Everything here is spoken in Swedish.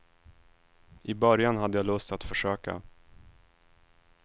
I början hade jag lust att försöka.